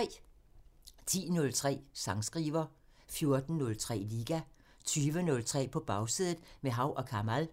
10:03: Sangskriver 14:03: Liga 20:03: På Bagsædet – med Hav & Kamal